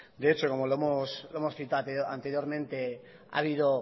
de hecho como lo hemos citado anteriormente ha habido